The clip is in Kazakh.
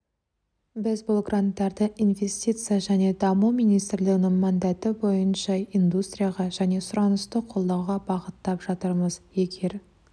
біз бұл гранттарды инвестиция және даму министрлігінің мандаты бойынша индустрияға және сұранысты қолдауға бағыттап жатырмыз егер